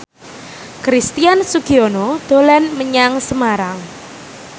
Christian Sugiono dolan menyang Semarang